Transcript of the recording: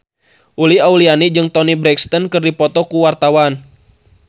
Uli Auliani jeung Toni Brexton keur dipoto ku wartawan